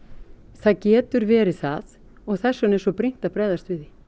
það getur verið það og þess vegna er það svo brýnt að bregðast við því